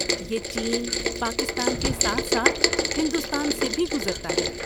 یہ چین، پاکستان کے ساتھ ساتھ ہندوستان سے بھی گزرتا ہے۔